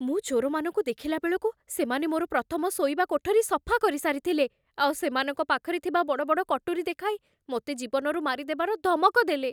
ମୁଁ ଚୋରମାନଙ୍କୁ ଦେଖିଲା ବେଳକୁ ସେମାନେ ମୋର ପ୍ରଥମ ଶୋଇବା କୋଠରି ସଫା କରିସାରିଥିଲେ, ଆଉ ସେମାନଙ୍କ ପାଖରେ ଥିବା ବଡ଼ ବଡ଼ କଟୁରୀ ଦେଖାଇ ମୋତେ ଜୀବନରୁ ମାରିଦେବାର ଧମକ ଦେଲେ।